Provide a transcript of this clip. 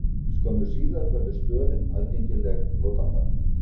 Skömmu síðar verður stöðin aðgengileg notandanum.